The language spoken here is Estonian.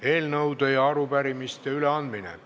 Eelnõude ja arupärimiste üleandmine.